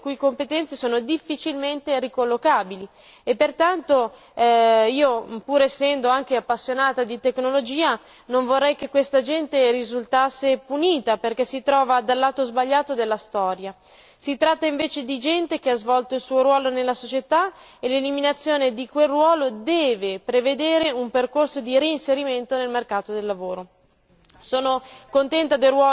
Di solito si tratta di lavoratori le cui competenze sono difficilmente ricollocabili e pertanto pur essendo io appassionata di tecnologia non vorrei che questa gente risultasse punita perché si trova dal lato sbagliato della storia. Si tratta invece di gente che ha svolto il suo ruolo nella società e l'eliminazione di quel ruolo deve prevedere un percorso di reinserimento nel mercato del lavoro.